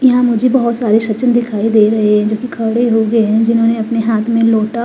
यहां मुझे तो बहुत सारे सचिन दिखाई दे रहे हैं जो खड़े हो गए हैं जिन्होंने अपने हाथों में लौटा--